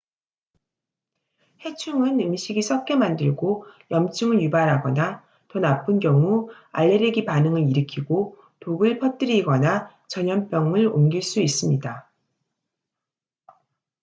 해충은 음식이 썩게 만들고 염증을 유발하거나 더 나쁜 경우 알레르기 반응을 일으키고 독을 퍼뜨리거나 전염병을 옮길 수 있습니다